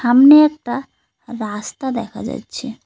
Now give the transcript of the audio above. সামনে একটা রাস্তা দেখা যাচ্ছে।